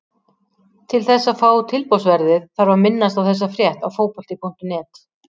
Til þess að fá tilboðsverðið þarf að minnast á þessa frétt á Fótbolti.net.